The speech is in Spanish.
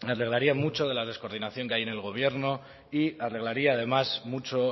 arreglaría mucho de la descoordinación que hay en el gobierno y arreglaría además mucho